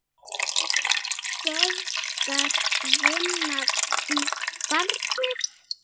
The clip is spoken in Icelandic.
Göfgar vinnan barnið?